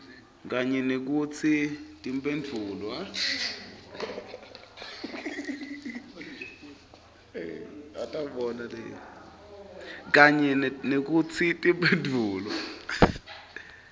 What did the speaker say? kanye nekutsi timphendvulo